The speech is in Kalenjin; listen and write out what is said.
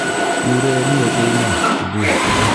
Iurereni ochei iman, ibur.